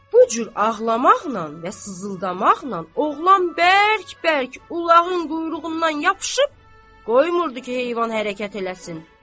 Bu cür ağlamaqla və sızıldamaqla oğlan bərk-bərk qulağın quyruğundan yapışıb qoymurdu ki, heyvan hərəkət eləsin.